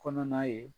Kɔnɔna ye